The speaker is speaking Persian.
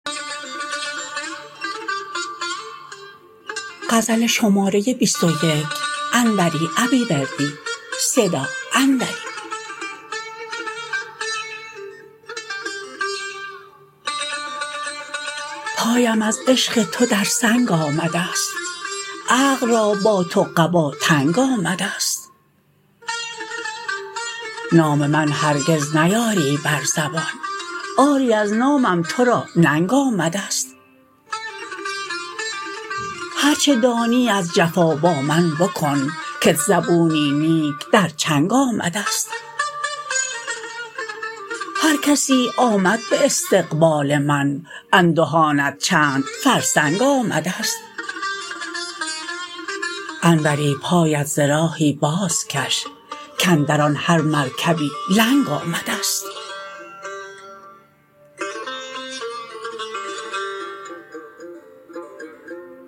پایم از عشق تو در سنگ آمدست عقل را با تو قبا تنگ آمدست نام من هرگز نیاری بر زبان آری از نامم ترا ننگ آمدست هرچه دانی از جفا با من بکن کت زبونی نیک در چنگ آمدست هرکسی آمد به استقبال من اندهانت چند فرسنگ آمدست انوری پایت ز راهی بازکش کاندران هر مرکبی لنگ آمدست